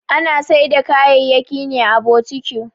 Ana Saida kaya'yaki ne à boutique.